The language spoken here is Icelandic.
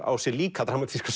á sér líka dramatíska